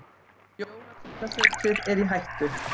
Jólasveinasetrið er í hættu.